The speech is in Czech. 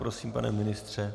Prosím, pane ministře.